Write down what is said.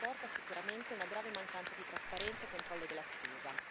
Ciò comporta sicuramente una grave mancanza di trasparenza e controllo della spesa.